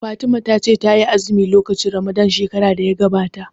Fatima ta ce ta yi azumi lokacin ramadan shekarar da ta gabata